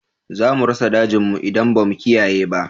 Za mu rasa dajin mu in ba mu kiyaye ba